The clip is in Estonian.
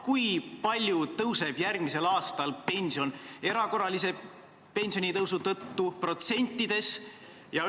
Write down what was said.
Kui palju tõuseb järgmisel aastal pension erakorralise pensionitõusu tõttu, protsentides?